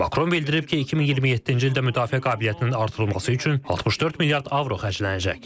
Makron bildirib ki, 2027-ci ildə müdafiə qabiliyyətinin artırılması üçün 64 milyard avro xərclənəcək.